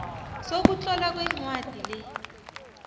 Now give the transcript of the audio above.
sokutlolwa kwencwadi le